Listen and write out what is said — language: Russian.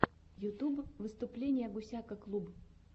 ютюб выступление гусяка клуб